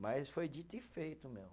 Mas foi dito e feito, meu.